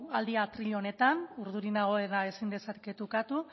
aldia atril honetan urdurik nago eta ezin dezaket ukatu